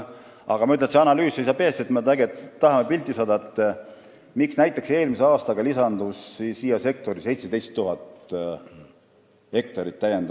Ma ütlen, et see analüüs seisab ees – me tahame pilti ette saada, miks näiteks lisandus sektorisse eelmisel aastal toetuse taotlusi 17 000 hektari kohta.